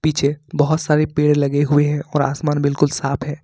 पीछे बहुत सारे पेड़ लगे हुए हैं और आसमान बिल्कुल साफ है।